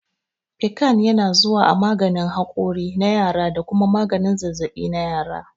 Piccan yana zuwa a maganin hakuri na yara da kuma maganin zazzaɓi na yara.